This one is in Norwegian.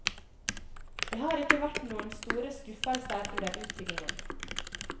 Det har ikke vært noen store skuffelser under utbyggingen.